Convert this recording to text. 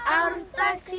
því